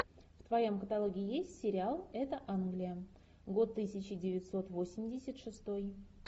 в твоем каталоге есть сериал это англия год тысяча девятьсот восемьдесят шестой